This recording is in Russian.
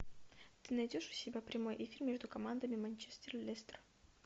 ты найдешь у себя прямой эфир между командами манчестер лестер